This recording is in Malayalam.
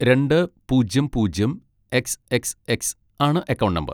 രണ്ട് പൂജ്യം പൂജ്യം എക്സ് എക്സ് എക്സ് ആണ് അക്കൗണ്ട് നമ്പർ.